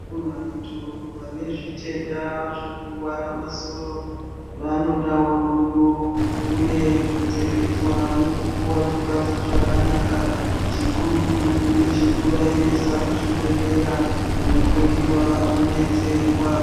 Vantu vane zvitenda zvekurwara masoro vanodawo rudo, uye kupfekedzwa nekupuwa zvikafu zvakanaka. Chikurutu ndechekuvaendesa kuzvibhedhlera kundohloyiwa vodetserwa.